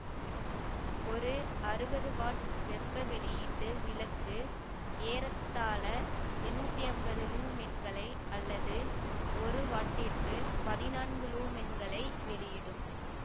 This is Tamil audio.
ஒரு அறுவது வாட் வெப்ப வெளியீட்டு விளக்கு ஏறத்தாழ எண்ணூத்தி அம்பது லூமென்களை அல்லது ஒரு வாட்டிற்கு பதினான்கு லூமென்களை வெளியிடும்